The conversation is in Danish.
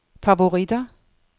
favoritter